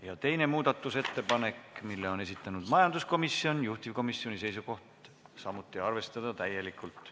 Ja teine muudatusettepanek, mille on esitanud majanduskomisjon, juhtivkomisjoni seisukoht: arvestada täielikult.